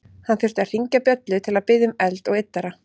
Hann þurfti að hringja bjöllu til að biðja um eld og yddara.